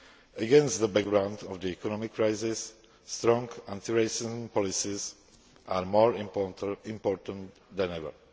Against the background of the economic crisis, strong anti racism policies are more important than ever.